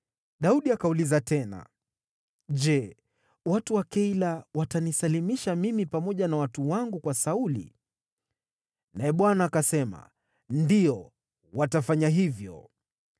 Daudi akauliza tena, “Je watu wa Keila watanisalimisha mimi pamoja na watu wangu kwa Sauli?” Naye Bwana akasema, “Ndiyo, watafanya hivyo.”